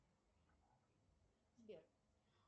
сбер